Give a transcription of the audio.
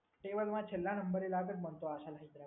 ટેબલમાં છેલ્લા નંબર એ લાગે છે મન તો આશા છે.